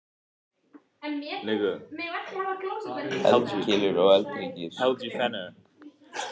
Eldkeilur og eldhryggir.